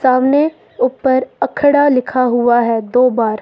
सामने ऊपर अखड़ा लिखा हुआ है दो बार।